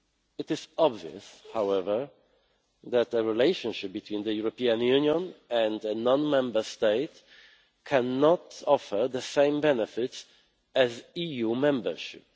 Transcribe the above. It is obvious, however, that the relationship between the European Union and a non Member State cannot offer the same benefits as EU membership.